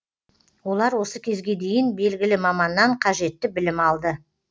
олар осы кезге дейін белгілі маманнан қажетті білім алды